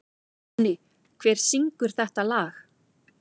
Manni, hver syngur þetta lag?